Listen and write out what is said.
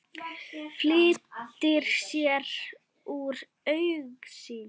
Flýtir sér úr augsýn.